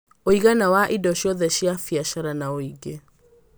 Ũigana wa indo ciothe cia biacara na ũingĩ: